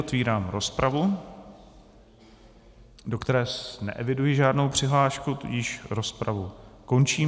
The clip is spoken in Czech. Otevírám rozpravu, do které neeviduji žádnou přihlášku, tudíž rozpravu končím.